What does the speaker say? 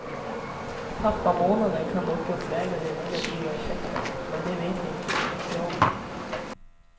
Pappamånaden kan dock uppväga de negativa effekterna, men det vet vi inte så mycket om.